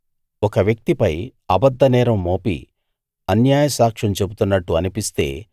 ఒక వ్యక్తిపై అబద్ద నేరం మోపి అన్యాయ సాక్ష్యం చెబుతున్నట్టు అనిపిస్తే